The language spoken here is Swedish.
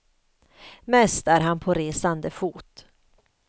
Mest är han på resande fot.